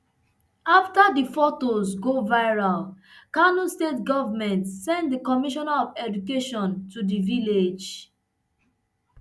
afta di fotos go viral kano state government send di commissioner of education to di village